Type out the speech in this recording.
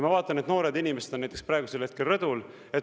Ma vaatan, et noored inimesed on näiteks praegusel hetkel rõdul.